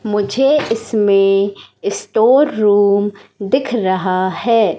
मुझे इसमें store room दिख रहा है।